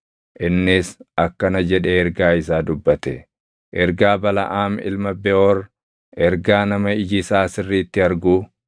innis akkana jedhee ergaa isaa dubbate: “Ergaa Balaʼaam ilma Beʼoor, ergaa nama iji isaa sirriitti arguu,